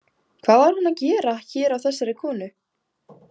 Hvað var hún að gera hér á þessari konu?